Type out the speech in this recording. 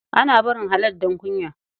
Ana barin halal don kunya.